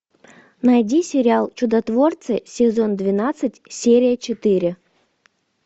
найди сериал чудотворцы сезон двенадцать серия четыре